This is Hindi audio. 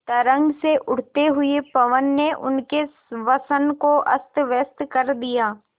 तरंग से उठते हुए पवन ने उनके वसन को अस्तव्यस्त कर दिया